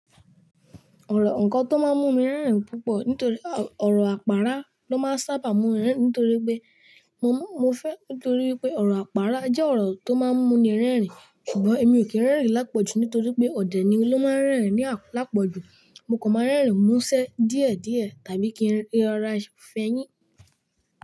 Ọ̀rọ̀ ǹnkan tó máa ń mú mi rẹ́rìn-ín púpọ̀ nítorí o, ọ̀rọ̀ àpárá ló máa ń sábà mú mi rẹ́rìn-ín ntorí pé mo, mo fẹ́ ntorí pé ọ̀rọ̀ àpárá jẹ́ ọ̀rọ̀ tó máa ń mú ni rẹ́rìn-ín ṣùgbọ́n èmi ò kí ń rẹ́rìn-ín lápọ̀jù nítorí pé ọ̀dẹ̀ ni ló máa ń rẹ́rìn-ín ni a, láàpọ̀jù. Mo kò máa ń rẹ́rìn-ín mú ṣẹ́ díẹ̀díẹ̀ tàbí kí ń r--, rara fẹyín.